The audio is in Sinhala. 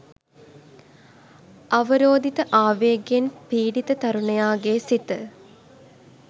අවරෝධිත ආවේගයෙන් පීඩිත තරුණයාගේ සිත